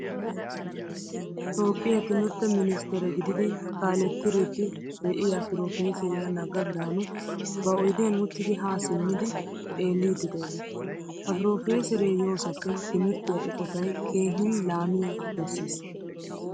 Toophphiyaa timirtte ministere gididi kaaletridi deiyaa profeseriyaa naga birhanu ba oydiyan uttidi ha simmidi xeelidi de'ees. Ha profesere yoosappe timirttiya eqqottay keehin laamiyaa besiis.